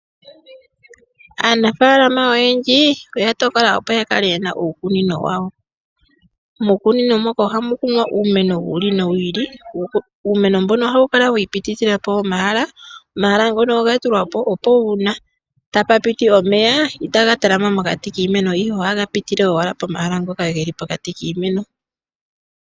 Aanafalama oyendji oya tokola opo ya kale yena uukunino wawo muukunino moka muukunino ohamu kunwa uumeno wi ili nowi ili uumeno mbuno ohawu kala wi ipitithila po omahala omahala ngono oga tulwa po opo uuna tapu piti